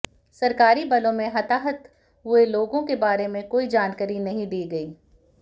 सरकारी बलों में हताहत हुए लोगों के बारे में कोई जानकारी नहीं दी गई